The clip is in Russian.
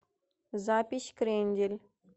запись крендель